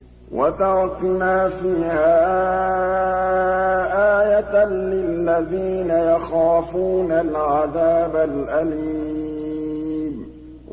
وَتَرَكْنَا فِيهَا آيَةً لِّلَّذِينَ يَخَافُونَ الْعَذَابَ الْأَلِيمَ